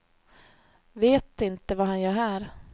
Vet inte vad han gör här.